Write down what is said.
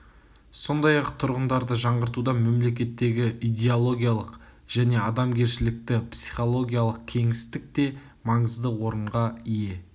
сондай-ақ тұрғындарды жаңғыртуда мемлекеттегі идеологиялық және адамгершілікті-психологиялық кеңістік те маңызды орынға ие